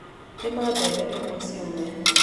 Tema mbembe nĩguo ciũme.